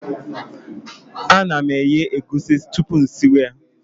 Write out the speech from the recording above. A na m eghe egwusi tupu m siwe ya